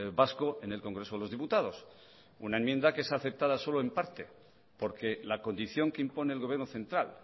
vasco en el congreso de los diputados una enmienda que es aceptada solo en parte porque la condición que impone el gobierno central